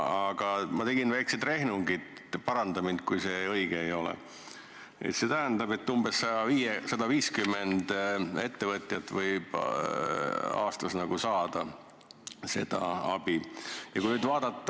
Aga ma tegin väiksed rehnungid – paranda mind, kui see õige ei ole –, see tähendab, et umbes 150 ettevõtjat võib aastas seda abi saada.